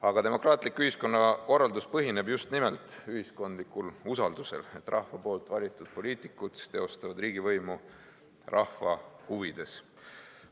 Aga demokraatlik ühiskonnakorraldus põhineb just nimelt ühiskondlikul usaldusel, et rahva valitud poliitikud teostavad riigivõimu rahva huvides.